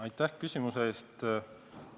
Aitäh küsimuse eest!